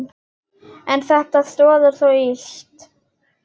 En þetta stoðar þó lítt.